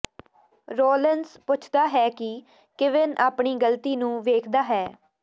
Rollins ਪੁੱਛਦਾ ਹੈ ਕਿ ਕੀਵਿਨ ਆਪਣੀ ਗ਼ਲਤੀ ਨੂੰ ਵੇਖਦਾ ਹੈ